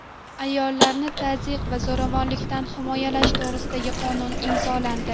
Ayollarni tazyiq va zo‘ravonlikdan himoyalash to‘g‘risida qonun imzolandi.